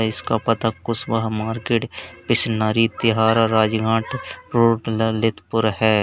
इसका पता कुशवाहा मार्केट पिसनारी तिराहा राजघाट रोड ललितपुर है।